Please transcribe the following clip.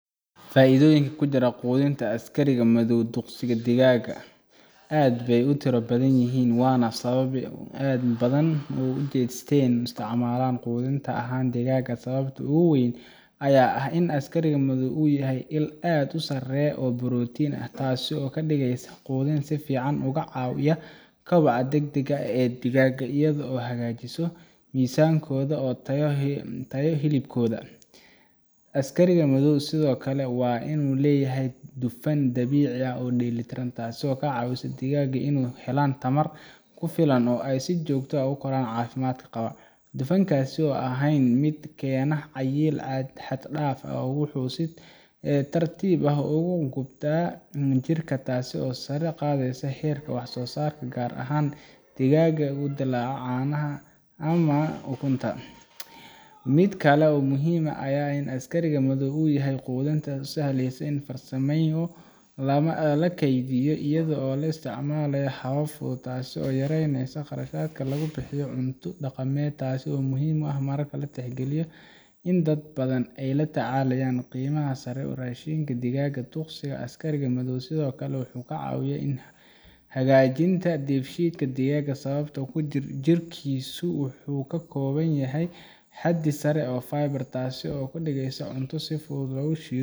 faidooyinka ku jira quudinta askari madow duqsi digaag aad bay u tiro badan yihiin waana sababta uu dad badan ugu jeesteen in ay u isticmaalaan quudin ahaan digaaga sababta ugu weyn ayaa ah in askariga madow uu yahay il aad u sareysa oo borotiin ah taas oo ka dhigaysa quudin si fiican uga caawisa kobaca degdegga ah ee digaaga iyadoo hagaajinaysa miisaankooda iyo tayada hilibkooda askari madow sidoo kale waxaa uu leeyahay dufan dabiici ah oo dheelitiran taasoo ka caawisa digaaga in ay helaan tamar ku filan oo ay si joogto ah u koraan si caafimaad qaba dufankaas oo aan ahayn mid keena cayil xad dhaaf ah wuxuu si tartiib ah ugu gubtaa jirka taas oo sare u qaadaysa heerka wax soo saarka gaar ahaan digaagta u dhalata caanaha ama ukunta mid kale oo muhiim ah ayaa ah in askariga madow uu yahay quudin aad u sahlan in la sii farsameeyo lana kaydiyo iyadoo loo isticmaalayo habab fudud taasoo yareyneysa kharashka lagu bixiyo cunto dhaqameedka taas oo muhiim ah marka la tixgeliyo in dad badan ay la tacaalayaan qiimaha sare ee raashinka digaaga duqsiga askari madow sidoo kale wuxuu ka caawiyaa hagaajinta dheefshiidka digaaga sababtoo ah jirkiisu wuxuu ka kooban yahay xaddi sare oo fiber ah taasoo ka dhigaysa cunto si fudud loo shiido